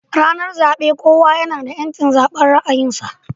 Ranar zabe kowa nada yanci zaban ra'ayin sa